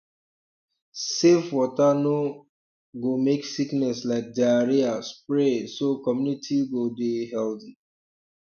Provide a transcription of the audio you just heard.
safe water no um go make sickness like diarrhea spread so community go dey healthy